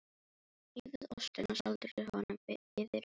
Rífið ostinn og sáldrið honum yfir réttinn.